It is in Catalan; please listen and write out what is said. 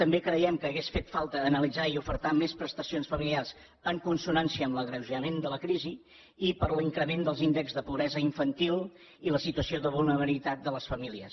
també creiem que hauria fet falta analitzar i ofertar més prestacions familiars en consonància amb l’agreujament de la crisi i per l’increment dels índexs de pobresa infantil i la situació de vulnerabilitat de les famílies